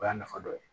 O y'a nafa dɔ ye